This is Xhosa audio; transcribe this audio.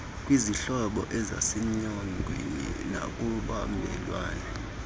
kwizihlobo eizsenyongweni nakubamelwane